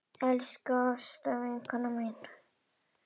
Elsku Ásta vinkona mín.